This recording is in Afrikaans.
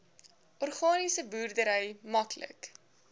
organiese boerdery maklik